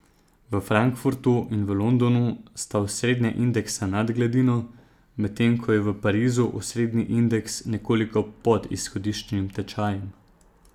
V Frankfurtu in v Londonu sta osrednja indeksa nad gladino, medtem ko je v Parizu osrednji indeks nekoliko pod izhodiščnim tečajem.